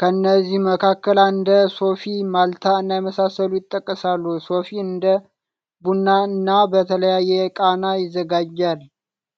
ከነዚ መካከል እንደ ሶፊ፣ ማልታ እና የመሳሰሉት ይጠቀሳሉ። ሶፊ እንደ ቡና እና በተለያየ ቃና ይዘጋጃል።